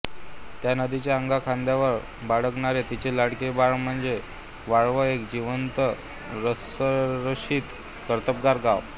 या नदीच्या अंगा खांद्यावर बागडणारे तिचे लाडके बाळ म्हणजे वाळवा एक जिवंत रसरशीत कर्तबगार गाव